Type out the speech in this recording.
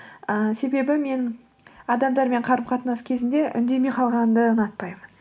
ыыы себебі мен адамдармен қарым қатынас кезінде үндемей қалғанды ұнатпаймын